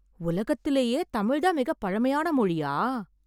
உலகத்திலேயே தமிழ் தான் மிகப் பழமையான மொழியா?